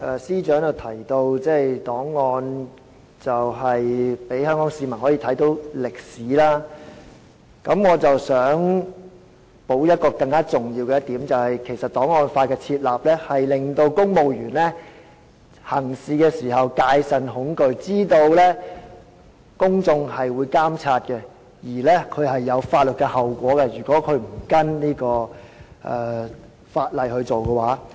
司長剛才提到檔案可以讓香港市民了解歷史，我想補充更重要的一點，便是檔案法的設立可令公務員在行事時戒慎恐懼，知道公眾會監察，如果他們不跟從法例行事，須承擔法律後果。